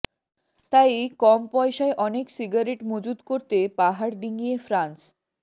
তাই কম পয়সায় অনেক সিগারেট মজুদ করতে পাহাড় ডিঙিয়ে ফ্রান্স